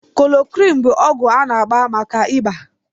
Koloroqini bụ ọgwụ a na-agba maka ịba